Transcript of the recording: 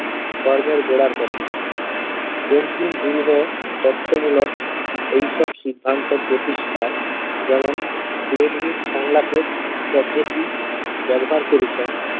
ধর্মের গোঁড়ার কথা বঙ্কিম রূঢ় তত্ত্বমূলক এইসব সিদ্ধান্ত প্রতিষ্ঠায় যেমন লেটভিক সংলাপের পদ্ধতি ব্যবহার করেছেন